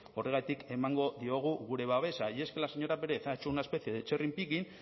horregatik emango diogu gure babesa y es que la señora pérez ha hecho una especie de cherry picking